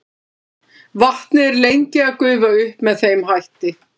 vatnið er lengi að gufa upp með þeim hætti